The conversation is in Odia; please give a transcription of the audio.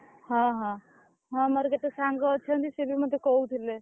ହଁ, ହଁ ହଁ, ମୋର ଯେତେ ସାଙ୍ଗ ଅଛନ୍ତି, ସେ ବି ମତେ କହୁଥିଲେ।